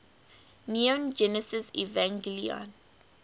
neon genesis evangelion